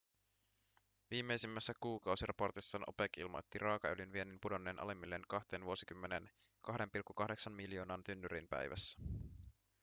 viimeisimmässä kuukausiraportissaan opec ilmoitti raakaöljyn viennin pudonneen alimmilleen kahteen vuosikymmeneen 2,8 miljoonaan tynnyriin päivässä